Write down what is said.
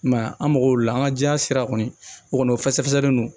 I m'a ye an mago la an ka diɲɛ sira kɔni o kɔni o fɛsɛfɛsɛlen don